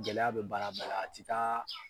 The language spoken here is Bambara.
Gɛlɛya bɛ baara bɛɛ la. A ti taa